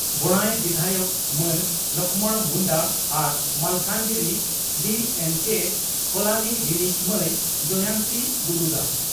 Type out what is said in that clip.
ᱵᱚᱬᱟᱭ ᱵᱤᱫᱷᱟᱭᱚᱠ ᱢᱟᱹᱱ ᱞᱚᱠᱷᱢᱚᱬ ᱢᱩᱱᱰᱟ ᱟᱨ ᱢᱟᱞᱠᱟᱱᱜᱤᱨᱤ ᱰᱤᱹᱮᱱᱹᱠᱮᱹ ᱠᱚᱞᱚᱱᱤ ᱨᱤᱱᱤᱡ ᱢᱟᱹᱭ ᱡᱚᱭᱚᱱᱛᱤ ᱵᱩᱨᱩᱫᱟ ᱾